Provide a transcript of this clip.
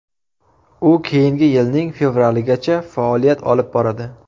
U keyingi yilning fevraligacha faoliyat olib boradi.